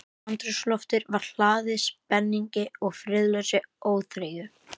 Andrúmsloftið var hlaðið spenningi- og friðlausri óþreyju.